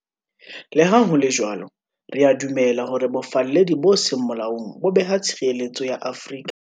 Le ha ho le jwalo, re a dumela hore bofalledi bo seng molaong bo beha tshireletso ya Afrika